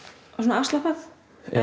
afslappað